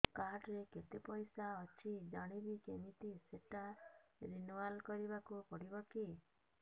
card ରେ କେତେ ପଇସା ଅଛି ଜାଣିବି କିମିତି ସେଟା ରିନୁଆଲ କରିବାକୁ ପଡ଼ିବ କି